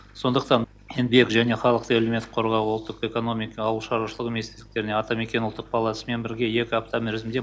сондықтан еңбек және халықты әлеуметтік қорғау ұлттық экономика ауыл шаруашылығы министрліктеріне атамекен ұлттық палатасымен бірге екі апта мерзімде